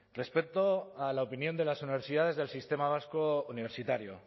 respecto a la opinión de las universidades del sistema vasco universitario